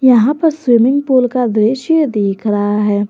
यहां पर swimming pool का दृश्य दिख रहा है।